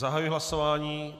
Zahajuji hlasování.